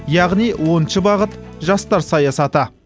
яғни оныншы бағыт жастар саясаты